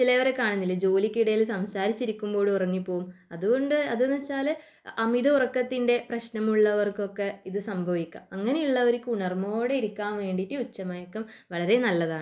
ചിലവരെ കാണുന്നില്ലേ ജോലിക്കിടയിൽ സംസാരിച്ചിരിക്കുമ്പോഴും ഉറങ്ങിപ്പോവും . അതുകൊണ്ട് അതെന്താണെന്നു വച്ചാൽ അമിത ഉറക്കത്തിന്റെ പ്രശ്നം ഉള്ളവർക്കൊക്കെ ഇത് സംഭവിക്കാം അങ്ങനെയുള്ളവർക്ക് ഉണർവ്വോടു കൂടെയിരിക്കാൻ ഉച്ചമയക്കം നല്ലതാണ്